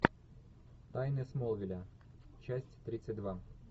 тайны смолвиля часть тридцать два